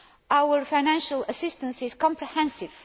Our financial assistance is comprehensive.